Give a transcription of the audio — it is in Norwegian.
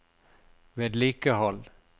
vedlikehold